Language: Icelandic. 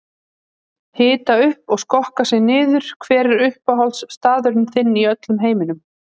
Hita upp og skokka sig niður Hver er uppáhaldsstaðurinn þinn í öllum heiminum?